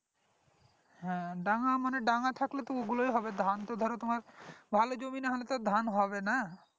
হ্যাঁ ডাঙ্গা মানে ডাঙ্গা থাকলে তো ওগুলোই হবে ধান তো ধরো তোমার ভালো জমি না হলে তো ধান হবে না